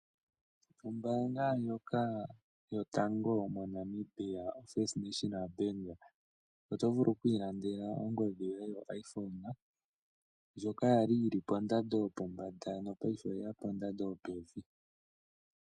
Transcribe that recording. Ombaanga yotango yopashigwana, oFirst National Bank oto vulu oku ilandela ongodhi yoye yoiPhone ndjoka ya li yi li pondando yopombanda, ihe paife oyi li kondando yopevi.